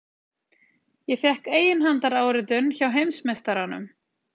Ég fékk eiginhandaráritun hjá heimsmeistaranum!